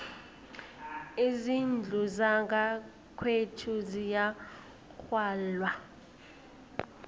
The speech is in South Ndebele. izindlu zangakwethu ziyagwalwa